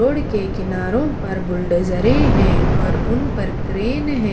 Road के किनारो पर बुलडोज़रें है और उन पर क्रेन है।